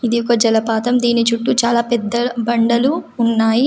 ఇది ఒక జలపాతం. దీని చుట్టూ చాలా పెద్ద బండలు ఉన్నాయి.